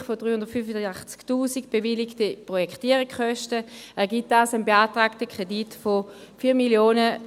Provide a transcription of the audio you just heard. Abzüglich der 385’000 Franken bewilligter Projektierungskosten, ergibt das einen beantragten Kredit von 4'985’000 Franken.